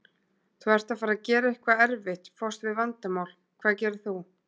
Þú ert að fara að gera eitthvað erfitt, fást við vandamál, hvað gerir þú?